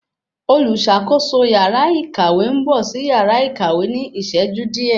Oluṣakoso yàrá ìkàwé n bọ sí yàrá ìkàwé ní iṣẹju diẹ